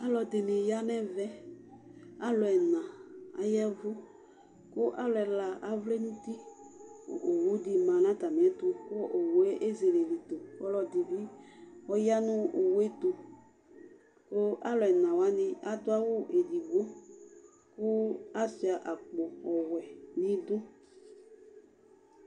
Alʋɛdìní ya nu ɛvɛ Alʋ ɛna ayavu kʋ alu ɛla avlɛ nʋ ʋti Owu di ma nu atami kʋ owu ye ezele lɛ ito kʋ ɔlɔdi bi ɔya nʋ owu ɛtu kʋ alʋ ɛna wani adu awu ɛdigbo kʋ asʋia akpo ɔwɛ nʋ idu